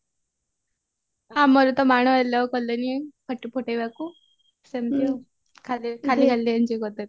ଆମର ତ ବାଣ allow କଲେନି ଫୁଟେଇବାକୁ ସେମତି ଆଉ ଖାଲି ଖାଲି enjoy କରିଦେଲୁ